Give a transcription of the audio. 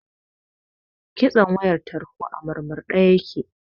Kitson wayar tarho a murmurɗe yake.